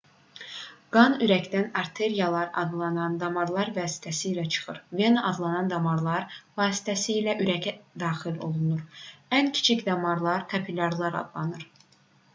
qan ürəkdən arteriyalar adlanan damarlar vasitəsilə çıxır vena adlanan damarlar vasitəsilə isə ürəyə daxil olur ən kiçik damarlar kapilyarlar adlanır